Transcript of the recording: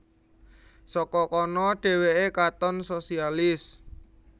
Saka kana dhèwèké katon sosialis